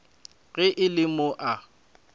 ge e le mo a